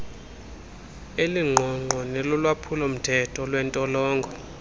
elingqongqo nelolwaphulomthetho lwentolongo